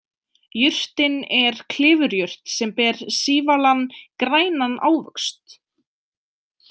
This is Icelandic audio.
Jurtin er klifurjurt sem ber sívalan grænan ávöxt.